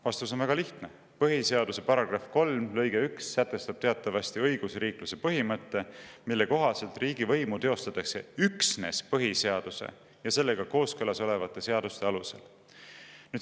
Vastus on väga lihtne: põhiseaduse § 3 lõige 1 sätestab teatavasti õigusriikluse põhimõtte, mille kohaselt riigivõimu teostatakse üksnes põhiseaduse ja sellega kooskõlas olevate seaduste alusel.